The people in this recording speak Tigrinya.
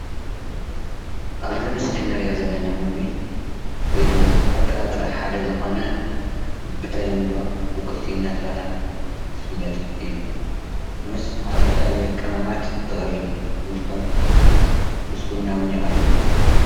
ኣብዚ ምስሊ እንርእዮ ዘለና ምግቢ ወይድማ ካብ ጥራጥረ ሓደ ዝኾነ ብተለምዶ ቡቁልቲ እናተባሃለ ዝፍለጥ እዩ። ምስ ዝተፈላለዩ ቅመማት ዝቀርብ እንትኸውን ምስ ቡና እውን ይቀርብ እዩ።